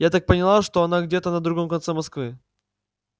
я так поняла что она где-то на другом конце москвы